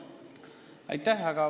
Aitäh!